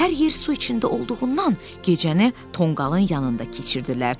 Hər yer su içində olduğundan gecəni tonqalın yanında keçirdilər.